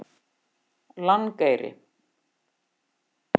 Langeyri